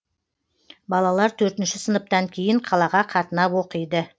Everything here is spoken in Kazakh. балалар төртінші сыныптан кейін қалаға қатынап оқиды